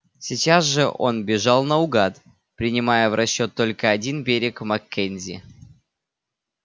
сейчас же он бежал наугад принимая в расчёт только один берег маккензи